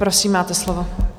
Prosím, máte slovo.